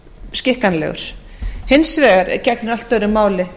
skikkanlegur hins vegar gegnir allt öðru máli